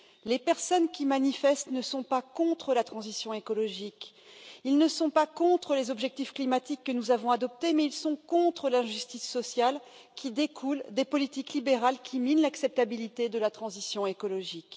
Les personnes qui manifestent ne sont pas contre la transition écologique, elles ne sont pas contre les objectifs climatiques que nous avons adoptés, mais elles sont contre l'injustice sociale qui découle des politiques libérales qui minent l'acceptabilité de la transition écologique.